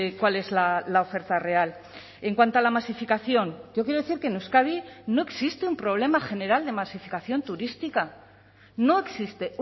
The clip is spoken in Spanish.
cuál es la oferta real en cuanto a la masificación yo quiero decir que en euskadi no existe un problema general de masificación turística no existe